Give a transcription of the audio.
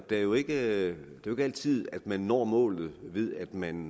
det er jo ikke altid at man når målet ved at man